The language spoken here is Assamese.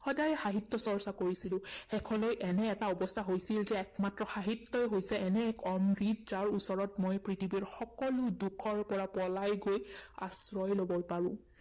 সদায় সাহিত্য চৰ্চা কৰিছিলো। শেষলৈ এনে এটা অৱস্থা হৈছিল যে একমাত্ৰ সাহিত্যই হৈছে এনে অমৃত যাৰ ওচৰত মই পৃথিৱীৰে সকলো দুখৰ পৰা পলাই গৈ আশ্ৰয় লব পাৰো।